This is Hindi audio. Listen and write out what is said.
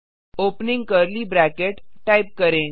ओपनिंग कर्ली ब्रैकेट टाइप करें